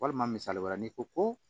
Walima misali wɛrɛ n'i ko ko